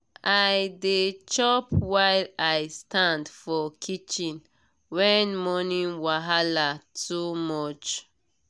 i dey chop while i stand for kitchen when morning wahala too much.